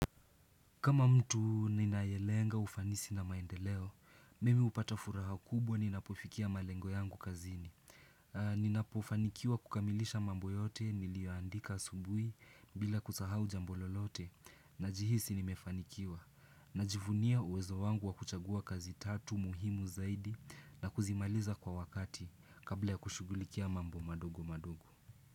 Kama mtu ninayelenga ufanisi na maendeleo, mimi hupata furaha kubwa ninapofikia malengo yangu kazini. Ninapofanikiwa kukamilisha mambo yote niliyoandika asubui bila kusahau ja mbo lolote na jihisi nimefanikiwa. Najivunia uwezo wangu wakuchagua kazi tatu muhimu zaidi na kuzimaliza kwa wakati kabla ya kushugulikia mambo madogo madogo.